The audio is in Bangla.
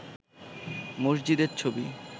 মসজিদের ছবি